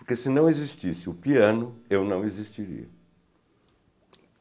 Porque se não existisse o piano, eu não existiria.